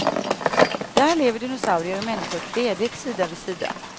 Där lever dinosaurier och människor fredligt sida vid sida.